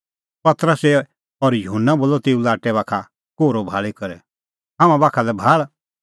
पतरसै और युहन्ना बोलअ तेऊ लाट्टै बाखा कोहरअ भाल़ी करै हाम्हां बाखा लै भाल़